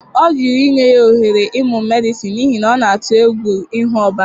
Ọ jụrụ inye ya ohere ịmụ Medịsịn n'ihi na ọ na-atụ egwu ịhụ ọbara.